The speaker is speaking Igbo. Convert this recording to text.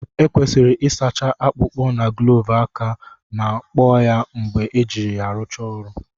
Ekwesịrị ịsacha akpụkpọ na gloovu aka ma kpọọ ya mgbe ejiri ya rụchaa ọrụ